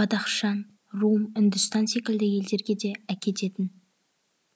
бадахшан рум үндістан секілді елдерге де әкететін